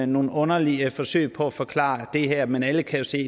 nogle underlige forsøg på at forklare det her men alle kan jo se